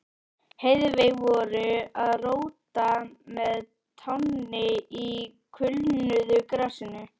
Heiðveig voru að róta með tánni í kulnuðu grasinu.